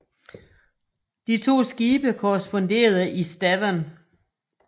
De to skibe korresponderede i Stavern